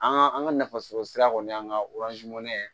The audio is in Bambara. An ka an ka nafasɔrɔ sira kɔni an ka